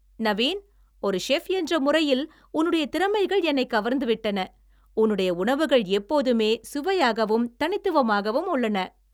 நவீன், ஒரு செஃப் என்ற முறையில் உன்னுடைய திறமைகள் என்னைக் கவர்ந்து விட்டன. உன்னுடைய உணவுகள் எப்போதுமே சுவையாகவும் தனித்துவமாகவும் உள்ளன.